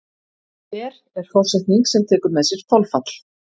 Per er forsetning sem tekur með sér þolfall.